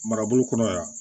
Marabolo kɔnɔ yan